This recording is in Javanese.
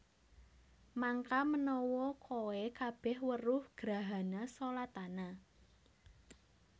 Mangka menawa kowe kabeh weruh grahana shalatana